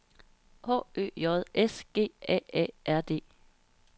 H Ø J S G A A R D